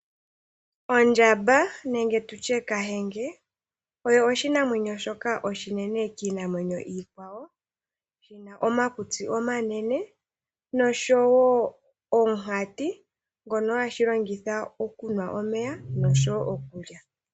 Ondjamba nenge tutye kahenge oyo oshinamwemyo shoka oshinene kiinamwenyo iikwawo yina omakutsi omanene noshowo omuhati ngono hashi longitha okunwa omeya noshowo okulya.